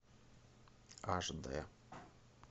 аш дэ